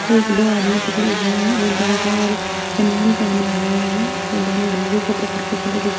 एक दो आदमी पकड़े हुए हैं। एक गमछा और बनियान पहने हुए हैं और दोनों धागे को पकड़ के फोटो खिंचवा--